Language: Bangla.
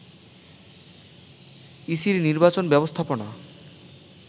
ইসির নির্বাচন ব্যবস্থাপনা